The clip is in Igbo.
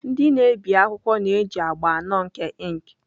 Ndị na-ebi akwụkwọ na-eji agba anọ nke ink.